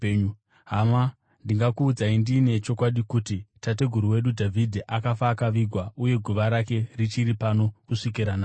“Hama, ndingakuudzai ndiine chokwadi kuti tateguru wedu Dhavhidhi akafa akavigwa, uye guva rake richiri pano kusvikira nhasi.